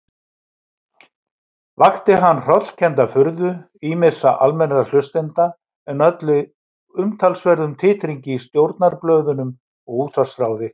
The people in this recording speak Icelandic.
Vakti hann hrollkennda furðu ýmissa almennra hlustenda, en olli umtalsverðum titringi í stjórnarblöðunum og útvarpsráði.